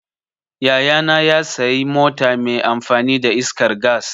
Yaya na ya sayi mota mai amfani da iskar gas.